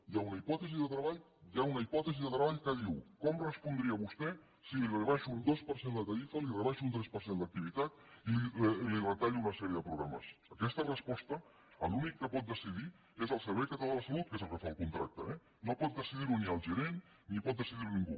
hi ha una hipòtesi de treball que diu com respondria vostè si li rebaixo un dos per cent la tarifa li rebaixo un tres per cent l’activitat i li retallo una sèrie de programes en aquesta resposta l’únic que pot decidir és el servei català de la salut que és el que fa el contracte eh no pot decidir ho ni el gerent ni pot decidir ho ningú